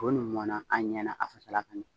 To nun mɔnan an ɲɛna a fasala ka ɲan.